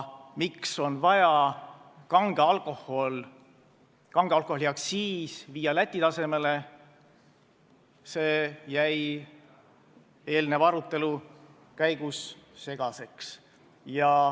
Miks on vaja kange alkoholi aktsiis viia Läti tasemele, see jäi eelnenud arutelu käigus segaseks.